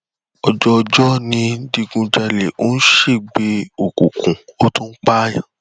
òjò òjò ń digun jalè ó ń ṣègbè òkùnkùn ó tún pààyàn